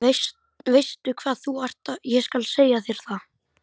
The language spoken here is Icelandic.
Veistu hvað þú ert, ég skal segja þér það.